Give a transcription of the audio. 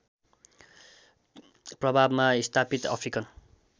प्रभावमा स्थापित अफ्रिकन